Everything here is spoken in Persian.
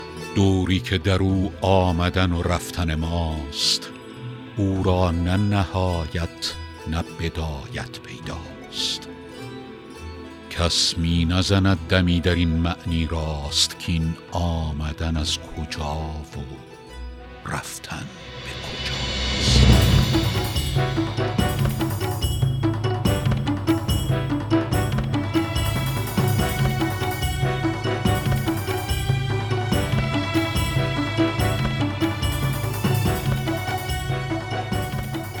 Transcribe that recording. دوری که در او آمدن و رفتن ماست او را نه نهایت نه بدایت پیداست کس می نزند دمی در این معنی راست کاین آمدن از کجا و رفتن به کجاست